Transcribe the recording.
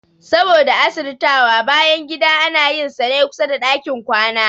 Saboda asirtawa, bayangida ana yin sane kusada ɗakin kwana